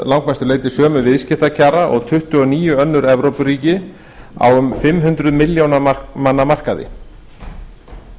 langmestu leyti sömu viðskiptakjara og tuttugu og níu önnur evrópuríki á um fimm hundruð milljóna manna markað